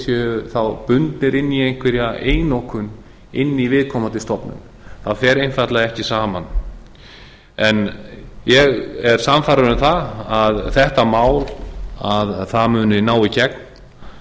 séu bundnir inn í einhverja einokun inn í viðkomandi stofnun það er einfaldlega ekki saman en ég er sannfærður um að þetta má muni ná í gegn